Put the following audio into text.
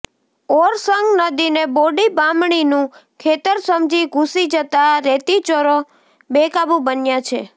ઓરસંગ નદીને બોડી બામણીનું ખેતર સમજી ધુસી જતા રેતી ચોરો બેકાબૂ બન્યા છે